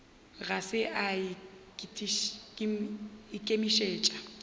ga se a ikemišetša go